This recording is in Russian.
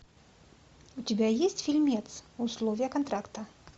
у тебя есть фильмец условия контракта